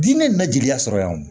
Diinɛ in bɛ jigiya sɔrɔ yan o